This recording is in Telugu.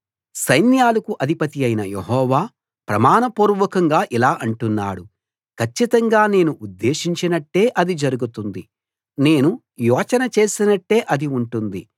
సైన్యాలకు అధిపతి అయిన యెహోవా ప్రమాణపూర్వకంగా ఇలా అంటున్నాడు కచ్చితంగా నేను ఉద్దేశించినట్టే అది జరుగుతుంది నేను యోచన చేసినట్టే అది ఉంటుంది